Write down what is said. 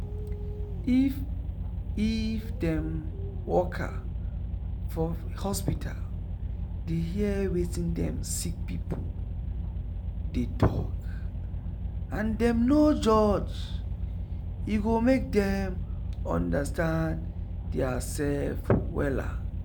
if if dem worker for hospital dey hear wetin dem sick pipu dey talk and dem no judge e go make dem understand dia sef wella.